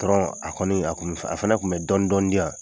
Patɔrɔn a kɔni a fana tun bɛ dɔni dɔni diyan